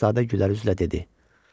Şahzadə gülərüzlə dedi.